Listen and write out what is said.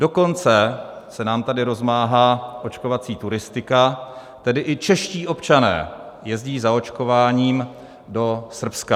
Dokonce se nám tady rozmáhá očkovací turistika, tedy i čeští občané jezdí za očkováním do Srbska.